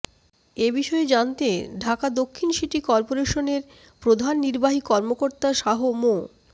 এ বিষয়ে জানতে ঢাকা দক্ষিণ সিটি করপোরেশনের প্রধান নির্বাহী কর্মকর্তা শাহ মো